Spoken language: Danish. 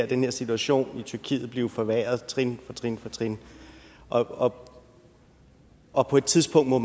den her situation i tyrkiet blive forværret trin trin for trin og på og på et tidspunkt må